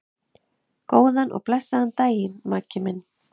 Góðan og blessaðan daginn, Maggi minn.